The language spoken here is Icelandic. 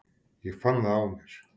Ég fann það á mér.